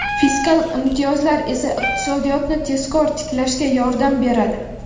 fiskal imtiyozlar esa iqtisodiyotni tezroq tiklashga yordam beradi.